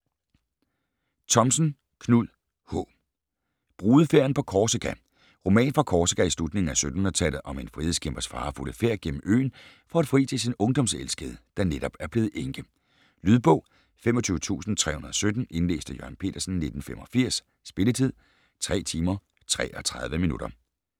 Thomsen, Knud H.: Brudefærden på Korsika Roman fra Korsika i slutningen af 1700-tallet om en frihedskæmpers farefulde færd gennem øen for at fri til sin ungdomselskede, der netop er blevet enke. Lydbog 25317 Indlæst af Jørgen Petersen, 1985. Spilletid: 3 timer, 33 minutter.